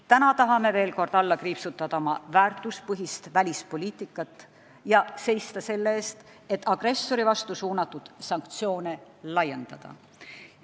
Täna tahame veel kord alla kriipsutada oma väärtuspõhist välispoliitikat ja seista selle eest, et agressori vastu suunatud sanktsioone laiendada.